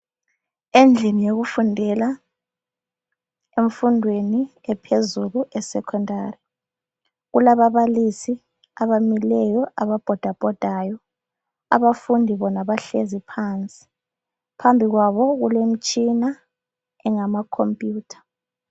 Endlini yokufundela emfundweni ephezulu esekhondari kulababalisi abamileyo aba bhida bhodayo phambi kwabo kule mitshina engama khompuyutha.